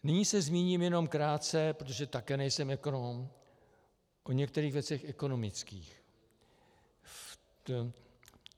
Nyní se zmíním jenom krátce, protože také nejsem ekonom, o některých věcech ekonomických.